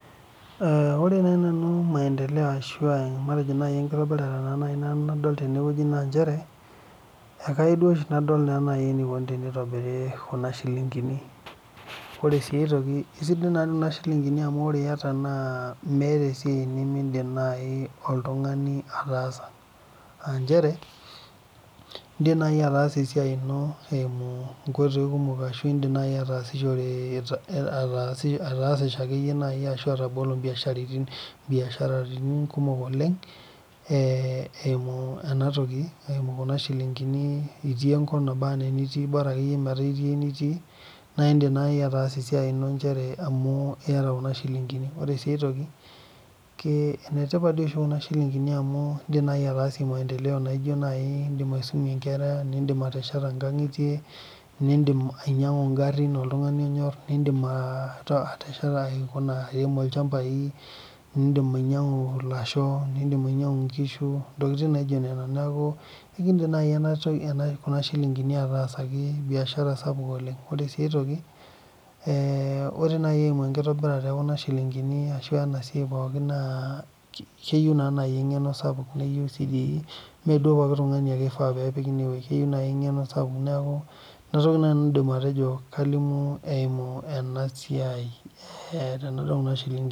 Ore naaji nanu maendeleo ashu enkitobirata nadol tenewueji naa njere ekayieu duo oshi nadol enikoni enitobiri Kuna shilingini ore sii aitoki esidai naa Kuna shilingini amu ore eyata meeta esiai nimidim naaji oltung'ani ataasa aa njere edim naaji ataasa esiai eno eyimu nkoitoi kumok ashu edim naaji atasishore atasishore akeyie ashu atabolo biasharani kumok oleng eyimu Kuna shilingini etii enkop nabaa ena eniti Bora akeyie meeta etii enitii naa edim naaji ataasa esiai eno njere amu eyata Kuna shilingini ore sii aitoki enetipat doi oshi Kuna shilingini amu edima ataasie maendeleo naijio naaji edim aisumie Nkera nidim ateshetie nkang'itie nidim ainyiang'u garin oltung'ani onyor nidim aremie ilchambai nidim ainyiang'u elasho nidim ainyiang'u enkishu neeku kedim naaji Kuna shilingini atasaki biashara sapuk oleng ore sii enkae toki ore naa eyimu enkitobirata ekuna shilingini ashu enasiai pookin naa keyieu naa eng'eno sapuk mmee duo pookin tung'ani ake eifaa pee epiki enewueji keyieu eng'eno sapuk neeku enatoki naaji naanu aidim ataa kalimu eyimu ena siai ekuna shilingini